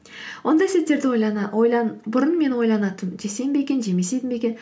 ондай сөздерді бұрын мен ойланатынмын жесем бе екен жемесем бе екен